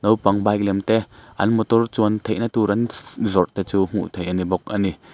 nopang bike lem te an motor chuan theihna tur an szz zawrhte chu hmuh theih an ni bawk a ni.